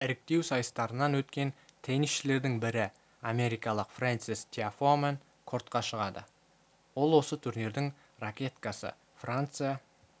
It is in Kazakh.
іріктеу сайыстарынан өткен теннисшілердің бірі америкалық фрэнсис тиафомен кортқа шығады ол осы турнирдің ракеткасы франция